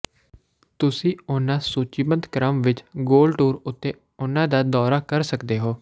ਤੁਸੀਂ ਉਹਨਾਂ ਸੂਚੀਬੱਧ ਕ੍ਰਮ ਵਿੱਚ ਗੋਲ ਟੂਰ ਉੱਤੇ ਉਨ੍ਹਾਂ ਦਾ ਦੌਰਾ ਕਰ ਸਕਦੇ ਹੋ